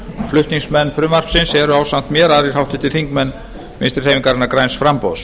flutningsmenn frumvarpsins eru ásamt mér aðrir háttvirtir þingmenn vinstri hreyfingarinnar græns framboðs